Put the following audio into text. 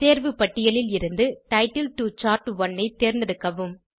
தேர்வு பட்டியலில் இருந்து டைட்டில் டோ சார்ட்1 ஐ தேர்ந்தெடுக்கவும்